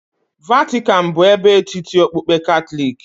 Vatican bụ ebe etiti okpukpe Katọlik.